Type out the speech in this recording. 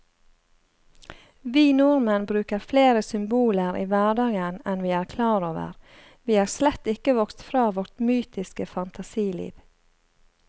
Vi nordmenn bruker flere symboler i hverdagen enn vi er klar over, vi er slett ikke vokst fra vårt mytiske fantasiliv.